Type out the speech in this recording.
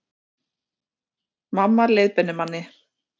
Mamma leiðbeinir manni